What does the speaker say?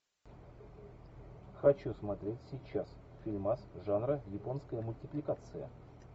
хочу смотреть сейчас фильмас жанра японская мультипликация